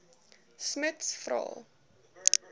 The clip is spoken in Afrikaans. smuts vra